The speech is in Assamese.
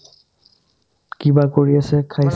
কিবা কৰি আছে খাই